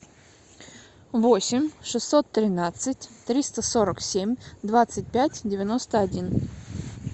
восемь шестьсот тринадцать триста сорок семь двадцать пять девяносто один